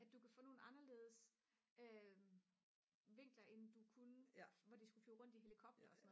at du kan få nogle anderledes vinkler end du kunne hvor de skulle hvor de skulle flyve rundt i helikopter